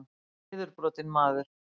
Hann var niðurbrotinn maður.